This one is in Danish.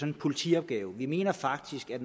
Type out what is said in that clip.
en politiopgave vi mener faktisk at